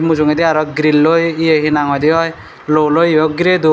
mujungedi aro grilloi ye hee nang hoide oi luoloi yo girey don.